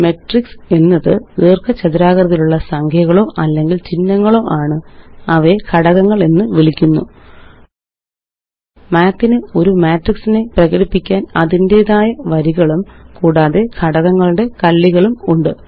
math ന് ഒരു matrix നെ പ്രകടിപ്പിക്കാന് അതിന്റേതായ വരികളും കൂടാതെ ഘടകങ്ങളുടെ കള്ളികളുമുണ്ട്